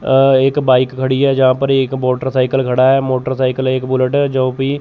अ एक बाइक खड़ी है जहां पर एक मोटरसाइकिल खड़ा है मोटरसाइकिल एक बुलेट है जो भी --